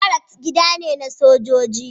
Baracks gida ne na sojoji.